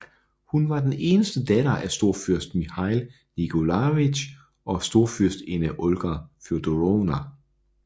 Hun var den eneste datter af storfyrst Mikhail Nikolajevitj og storfyrstinde Olga Fjodorovna